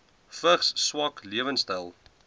vigs swak lewensstyle